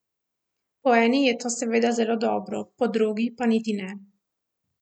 Po eni je to seveda zelo dobro, po drugi pa niti ne.